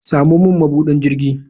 Samo min mabudin jirgi.